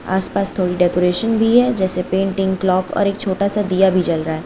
आस पास थोड़ी डेकोरेशन भी है जैसे पेंटिंग क्लॉक और एक छोटा सा दिया भी जल रहा--